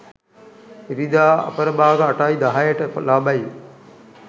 ඉරිදා අපරභාග 8.10 ට ලබයි.